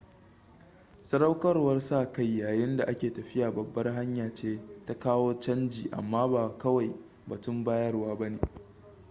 sadaukarwar sa-kai yayin da a ke tafiya babbar hanya ce ta kawo canji amma ba kawai batun bayarwa ba ne